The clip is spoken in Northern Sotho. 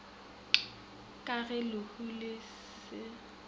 ga ge lehu le se